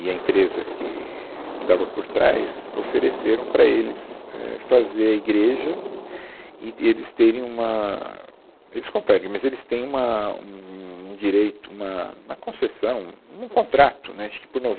E a empresa que que estava por trás ofereceram para eles é fazer a igreja e de eles terem uma... Eles comprarem, mas eles têm uma um um direito, uma uma concessão, um contrato, né, acho que por